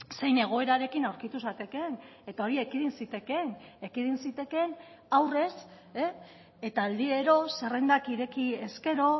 zein egoerarekin aurkitu zatekeen eta hori ekidin zitekeen ekidin zitekeen aurrez eta aldiro zerrendak ireki ezkero